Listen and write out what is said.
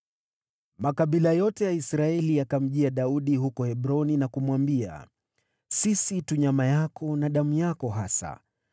Makabila yote ya Israeli yakamjia Daudi huko Hebroni na kumwambia, “Sisi tu nyama yako na damu yako hasa.